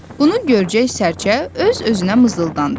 Bunu görcək sərçə öz-özünə mızıldandı.